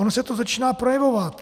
Ono se to začíná projevovat.